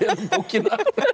bókina